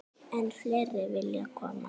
Enn fleiri vilja koma.